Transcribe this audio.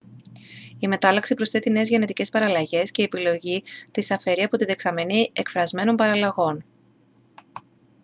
η μετάλλαξη προσθέτει νέες γενετικές παραλλαγές και η επιλογή τις αφαιρεί από τη δεξαμενή εκφρασμένων παραλλαγών